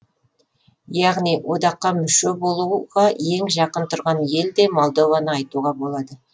яғни одаққа мүше болуға ең жақын тұрған ел де молдованы айтуға болады